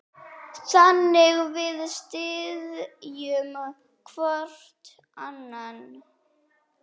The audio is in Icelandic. Þannig við styðjum hvorn annan.